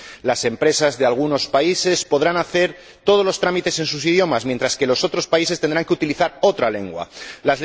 Las empresas de algunos países podrán hacer todos los trámites en sus idiomas, mientras que las de otros países tendrán que utilizar una lengua que no es la suya.